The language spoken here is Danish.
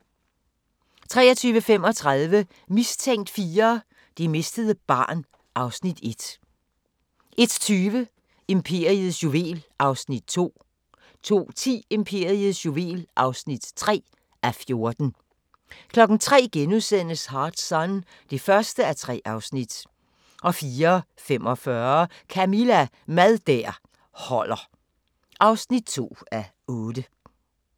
23:35: Mistænkt 4: Det mistede barn (Afs. 1) 01:20: Imperiets juvel (2:14) 02:10: Imperiets juvel (3:14) 03:00: Hard Sun (1:3)* 04:45: Camilla – Mad der holder (2:8)